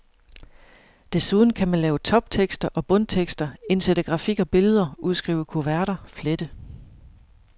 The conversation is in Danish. Desuden kan man lave toptekster og bundtekster, indsætte grafik og billeder, udskrive kuverter, flette.